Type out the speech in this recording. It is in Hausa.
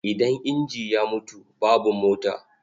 Idan inji ya mutu, babu mota.